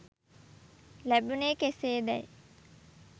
ලැබුණේ කෙසේදැයි